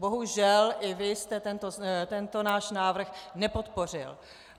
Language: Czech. Bohužel i vy jste tento náš návrh nepodpořil.